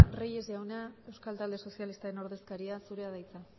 andrea reyes jauna euskal talde sozialistaren ordezkaria zurea da hitza